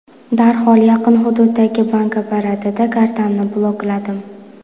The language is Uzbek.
Darhol yaqin hududdagi bank apparatida kartamni blokladim.